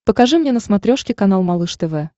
покажи мне на смотрешке канал малыш тв